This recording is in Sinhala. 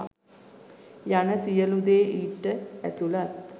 යන සියළු දේ ඊට ඇතුලත්.